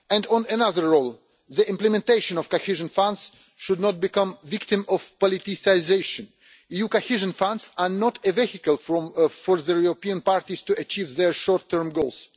On another role, the implementation of cohesion funds should not become a victim of politicisation. EU cohesion funds are not a vehicle for the European parties to achieve their short term goals.